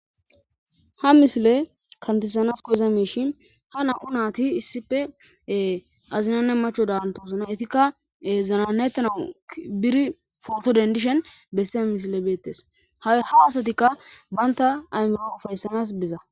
ha mishile kantisanas koyza miishi ha naqu naati issippee azinanne macho daantoosana etikka zananayttana biri forto dendishen bessea mishile beettes haha asatikka baynta ayero ufayssanas biza